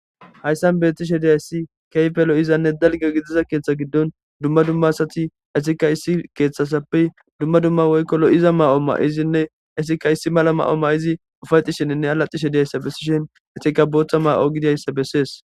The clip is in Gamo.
hayssan bettishe diyayssi keyfe lo7izanne dalge gidiza keeththa giddon dumma dumma asati esika issi keeththasappey dumma dumma woykko lo7iza ma7o ma7izinne esika isi mala ma7o ma7izi ufayxi sheninne alaxishe diyayssa bessishen etika boothta ma7o gidiyayssa bessees